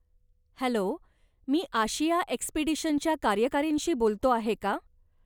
Hello! मी Asia एक्सपीडिशनच्या कार्यकारींशी बोलतो आहे का?